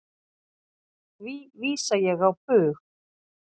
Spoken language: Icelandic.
Því vísa ég á bug.